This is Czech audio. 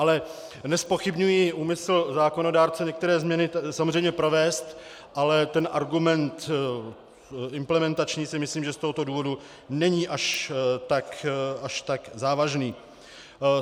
Ale nezpochybňuji úmysl zákonodárce některé změny samozřejmě provést, ale ten argument implementační si myslím, že z tohoto důvodu není až tak závažný.